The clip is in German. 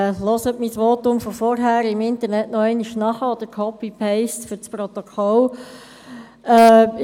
Hören Sie sich mein Votum von vorhin im Internet noch einmal an, oder machen Sie fürs Protokoll «copy and paste».